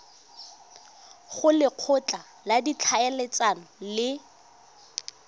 go lekgotla la ditlhaeletsano le